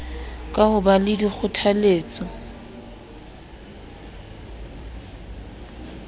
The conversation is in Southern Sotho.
ka ho ba le dikgothaletso